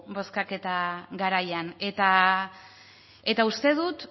bozkaketa garaian eta uste dut